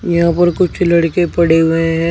यहां पर कुछ लड़के पड़े हुए हैं।